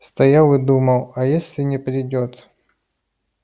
стоял и думал а если не придёт